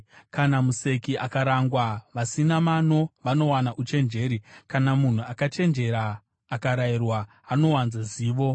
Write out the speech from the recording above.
Kana museki akarangwa vasina mano vanowana uchenjeri; kana munhu akachenjera akarayirwa anowana zivo.